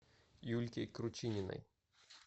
юльке кручининой